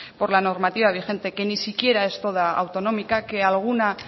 por la normativa vigente que ni siquiera es toda autonómica que alguna